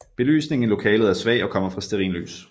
Belysningen i lokalet er svag og kommer fra stearinlys